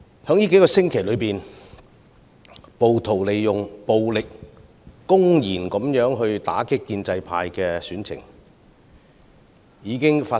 近數星期，暴徒以暴力公然打擊建制派的選情已多次發生。